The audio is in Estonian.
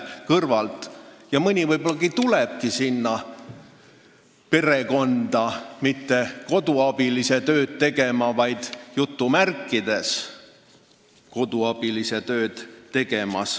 Mõni neist võib-olla tulebki perekonda mitte koduabilise tööd tegema, vaid "koduabilise" tööd tegema.